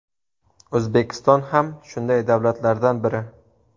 O‘zbekiston ham shunday davlatlardan biri.